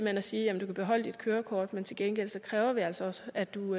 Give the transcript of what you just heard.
hen at sige at du kan beholde dit kørekort men til gengæld kræver vi altså også at du